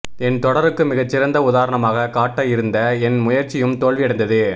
என் தொடருக்கு மிகச் சிறந்த உதாரணமாகக் காட்டஇருந்த என் முயற்சியும் தோல்வியடைந்தது